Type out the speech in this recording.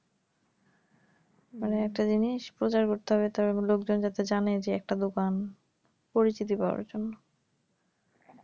মানে একটা জিনিস প্রচার করতে হবে তবে লোকজন যাতে জানে যে একটা দোকান পরিচিত পাওয়ার জন্য